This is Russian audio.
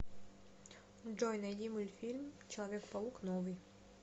джой найди мультфильм человек паук новый